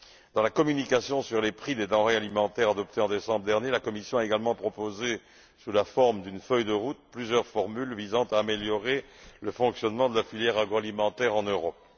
Dans la communication sur les prix des denrées alimentaires adoptée en décembre dernier, la Commission a également proposé, sous la forme d'une feuille de route, plusieurs formules visant à améliorer le fonctionnement de la filière agroalimentaire en Europe.